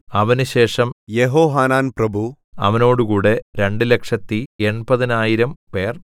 അവനുശേഷം യെഹോഹാനാൻ പ്രഭു അവനോടുകൂടെ രണ്ടുലക്ഷത്തി എൺപതിനായിരം 280000 പേർ